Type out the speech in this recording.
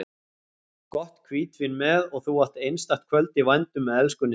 Gott hvítvín með og þú átt einstakt kvöld í vændum með elskunni þinni.